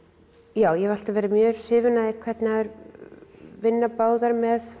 já ég hef alltaf verið mjög hrifin af því hvernig þær vinna báðar með